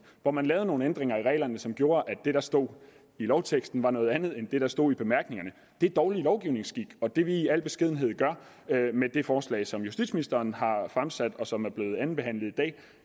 hvor man lavede nogle ændringer af reglerne som gjorde at det der stod i lovteksten var noget andet end det der stod i bemærkningerne det er dårlig lovgivningskik og det vi i al beskedenhed gør med det forslag som justitsministeren har fremsat og som er blevet andenbehandlet i dag